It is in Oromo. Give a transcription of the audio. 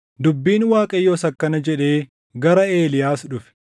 Dubbiin Waaqayyoos akkana jedhee gara Eeliyaas dhufe;